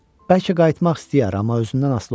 Bəlkə qayıtmaq istəyər, amma özündən asılı olmasın.